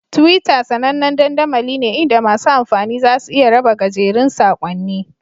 Twitter sAnannen dandamali ne inda masu amfani za su iya raba gajerun saƙonni